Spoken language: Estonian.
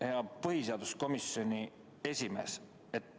Hea põhiseaduskomisjoni esimees!